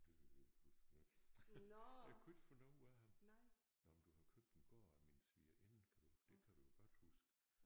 Det kan jeg ikke huske øh jeg kunne ikke få noget ud af ham. Nåh men du har købt en gård af min svigerinde kan du det kan du jo godt huske